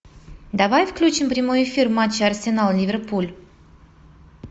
давай включим прямой эфир матча арсенал ливерпуль